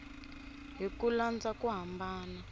hi ku landza ku hambana